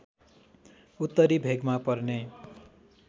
उत्तरी भेगमा पर्ने